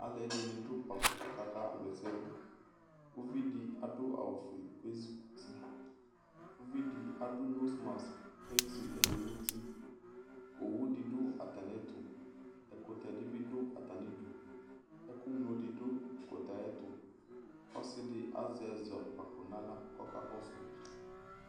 Aluɛde ne do kpafo kaka wla asɛ doUvi de ado awufue ke zukutiUvi de ado nosmask kue zi nɛlu no utiOwu de do atane ɛtoƐkutɛ de be do atane duƐku ñlo de do ɛkutɛ ayetoƆse de azɛ ɛzɔkpako nahla kɔka kɔso